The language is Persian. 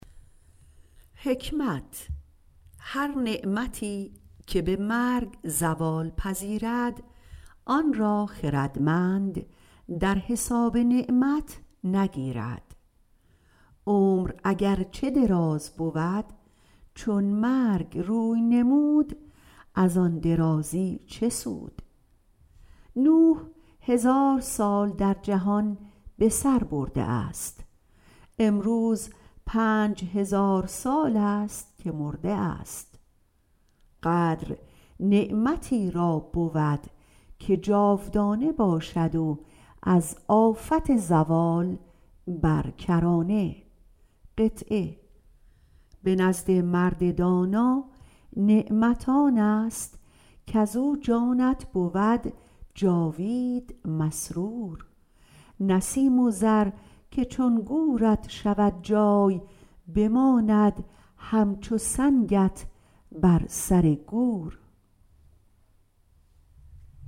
هر نعمت که به مرگ زوال پذیرد آن را خردمند در حساب نعمت نگیرد عمر اگر چه دراز بود چون مرگ روی نمود از آن درازی چه سود نوح علیه السلام هزار سال در جهان به سر برده است امروز پنج هزار سال است که مرده است قدر نعمتی را بود که جاودانه باشد و از آفت زوال برکرانه بود به نزد مرد دانا نعمت آنست کزو جانت بود جاوید مسرور نه سیم و زر که چون گورت بود جای بماند همچو سنگت بر سر گور